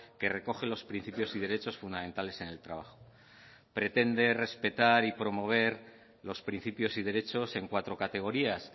que recoge los principios y derechos fundamentales en el trabajo pretende respetar y promover los principios y derechos en cuatro categorías